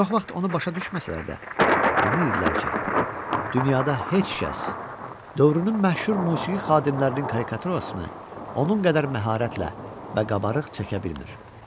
Çox vaxt onu başa düşməsələr də, əmin idilər ki, dünyada heç kəs dövrünün məşhur musiqi xadimlərinin karikaturasını onun qədər məharətlə və qabarıq çəkə bilmir.